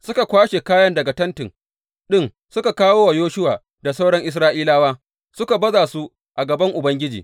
Suka kwashe kayan daga tenti ɗin suka kawo wa Yoshuwa da sauran Isra’ilawa, suka baza su a gaban Ubangiji.